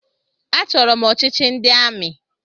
Achọrọ m ọchịchị ndị amị.